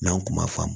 N'an kun ma faamu